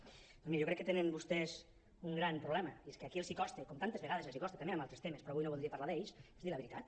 doncs miri jo crec que tenen vostès un gran problema i és que aquí els costa com tantes vegades els costa també en altres temes però avui no en voldria parlar dir la veritat